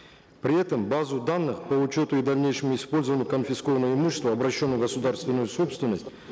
при этом базу данных по учету и дальнейшему использованию конфискованного имущества обращенного в государственную собственность